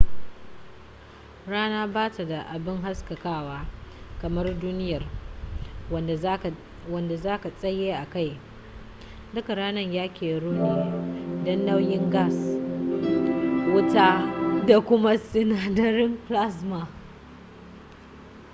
rana ba ta da abi haskakawa kamar duniyar wanda za ka tsaye a kai duka ranar ya keru ne dan nauyin gas wuta da kuma sinadarin plasma